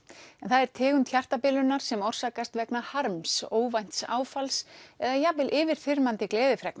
en það er tegund hjartabilunar sem orsakast vegna harms óvænts áfalls eða jafnvel yfirþyrmandi